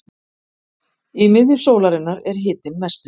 Í miðju sólarinnar er hitinn mestur.